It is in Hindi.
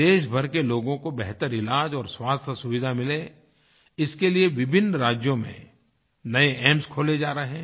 देशभर के लोगों को बेहतर इलाज और स्वास्थ्यसुविधा मिले इसके लिए विभिन्न राज्यों में नए एम्स खोले जा रहे हैं